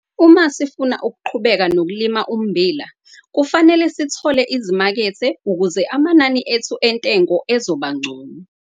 Uma sifuna ukuqhubeka nokulima ummbila kufanele sithole izimakethe ukuze amanani ethu entengo ezoba ngcono.